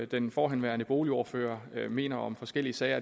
den forhenværende boligordfører mener om forskellige sager